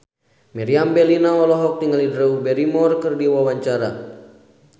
Meriam Bellina olohok ningali Drew Barrymore keur diwawancara